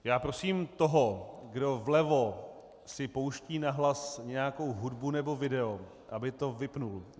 Já prosím toho, kdo vlevo si pouští nahlas nějakou hudbu nebo video, aby to vypnul!